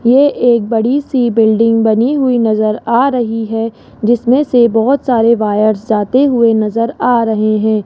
ये एक बड़ी सी बिल्डिंग बनी हुई नजर आ रही है जिसमें से बहोत सारे वायर्स जाते हुए नजर आ रहे हैं।